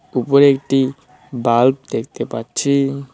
উপরে একটি বাল্ব দেখতে পাচ্ছি।